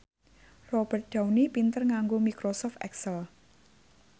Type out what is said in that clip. Robert Downey pinter nganggo microsoft excel